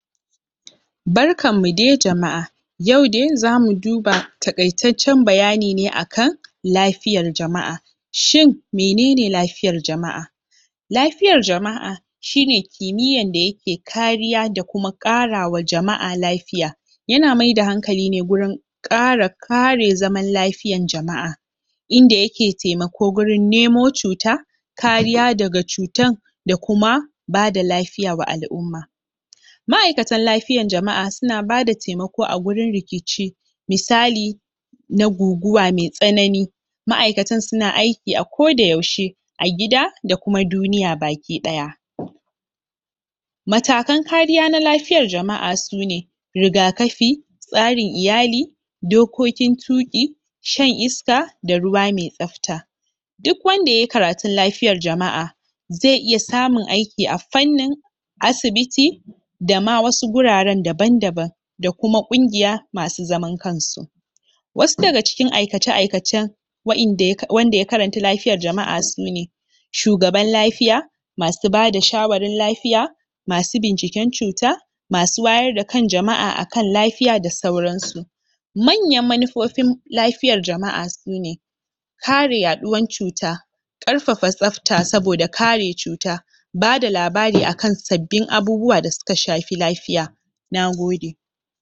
Barkanmu dai jama'a! yau dai zamu duba taƙaitaccen bayani ne akan lafiyar jama'a shin menene lafiyar jama'a lafiyar jama'a shi ne kimiyan da yake kariya da kuma ƙarawa jama'a lafiya yana maida hankali ne gurin ƙara kare zaman lafiyan jama'a inda yake taimako gurin nemo cuta kariya daga cutan da kuma bada lafiya wa al'umma ma'aikatan lafiyan jama'a suna bada taimako ko agurin rikici misali na guguwa mai tsanani ma'aikatan suna aiki a koda yaushe a gida da kuma duniya baki ɗaya matakan kariya na lafiyar jama'a su ne rigakafi tsarin iyali dokokin tuƙi shan iska da ruwa mai tsafta duk wanda ye karatun lafiyar jama'a zai iya samun aiki a fannin asibiti dama wasu guraren daban-daban da kuma ƙungiya masu zaman kansu wasu daga cikin aikace-aikacen wa'inda wanda ya karanta lafiyar jama'a su ne shugaban lafiya masu bada shawarin lafiya masu binciken cuta masu wayar da kan jama'a akan lafiya da sauran su manyan manufofin lafiyar jama'a su ne kare yaɗuwan cuta ƙarfafa tsafta saboda kare cuta bada labari akan sabbin abubuwa da suka shafi lafiya Nagode!